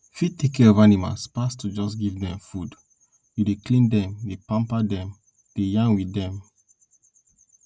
fi tek care of animal pass to jus to give dem food you dey clean dem pamper dem dey yarn with dem